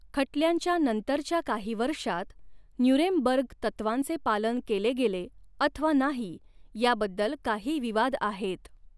खटल्यांच्या नंतरच्या काही वर्षांत न्यूरेमबर्ग तत्त्वांचे पालन केले गेले अथवा नाही याबद्दल काही विवाद आहेत.